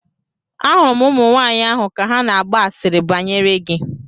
Ahụrụ m ụmụnwaanyị ahụ ka ha na-agba asịrị banyere gị.